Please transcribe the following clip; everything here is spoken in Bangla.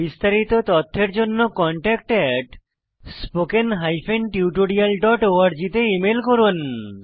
বিস্তারিত তথ্যের জন্য contactspoken tutorialorg তে ইমেল করুন